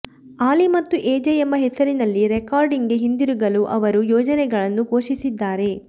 ಆಲಿ ಮತ್ತು ಎಜೆ ಎಂಬ ಹೆಸರಿನಲ್ಲಿ ರೆಕಾರ್ಡಿಂಗ್ಗೆ ಹಿಂದಿರುಗಲು ಅವರು ಯೋಜನೆಗಳನ್ನು ಘೋಷಿಸಿದ್ದಾರೆ